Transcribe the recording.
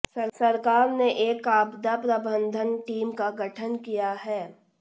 सरकार ने एक आपदा प्रबंधन टीम का गठन किया है